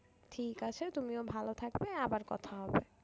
ঠিক আছে তুমিও ভালো থাকবে আবার কথা হবে।